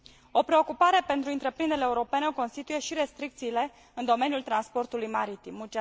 O preocupare pentru întreprinderile europene o constituie și restricțiile în domeniul transportului maritim.